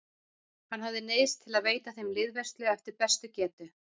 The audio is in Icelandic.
Hann hafði neyðst til að veita þeim liðveislu eftir bestu getu.